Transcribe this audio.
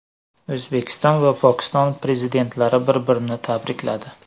O‘zbekiston va Pokiston Prezidentlari bir-birini tabrikladi.